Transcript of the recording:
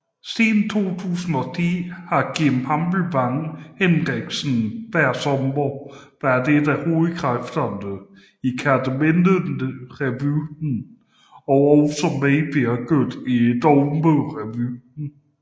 Siden 2010 har Kim Hammelsvang Henriksen hver sommer været én af hovedkræfterne i Kerteminderevyen og også medvirket i Dogmerevyen